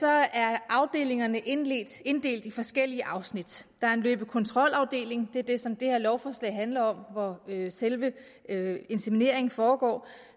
er afdelingerne inddelt inddelt i forskellige afsnit der er en løbe og kontrolafdeling det er den som det her lovforslag handler om og det er selve insemineringen foregår